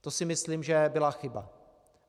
To si myslím, že byla chyba.